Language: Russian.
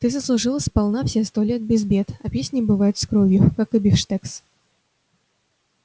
ты заслужил сполна все сто лет без бед а песни бывают с кровью как и бифштекс